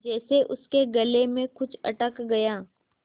जैसे उसके गले में कुछ अटक गया